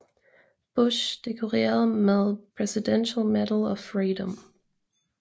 Bush dekoreret med Presidential Medal of Freedom